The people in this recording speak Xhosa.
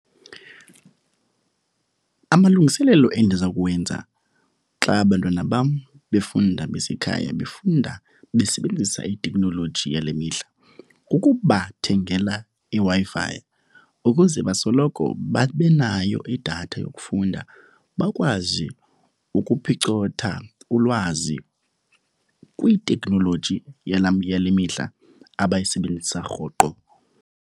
Amalungiselelo endiza kuwenza xa abantwana bam befunda basekhaya, befunda besebenzisa iteknoloji yale mihla, kukubathengela iW-i Fi ukuze basoloko babenayo idatha yokufunda. Bakwazi ukuphicotha ulwazi kwiteknoloji yala yale mihla abayisebenzisa rhoqo.